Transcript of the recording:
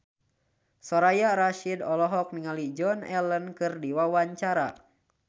Soraya Rasyid olohok ningali Joan Allen keur diwawancara